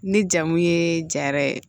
Ni jamu ye ja yɛrɛ ye